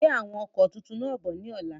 Gbe àwọn ọkọ tuntun náà bọ̀ ni ọ̀la!